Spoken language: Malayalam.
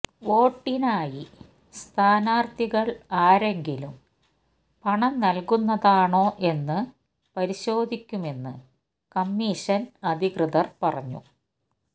വോട്ടിനായി സ്ഥാനാര്ത്ഥികള് ആരെങ്കിലും പണം നല്കുന്നതാണോ എന്നു പരിശോധിക്കുമെന്ന് കമ്മിഷന് അധികൃതര് പറഞ്ഞു